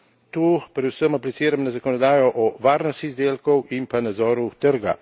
Tu predvsem apliciram na zakonodajo o varnosti izdelkov in pa nadzoru trga.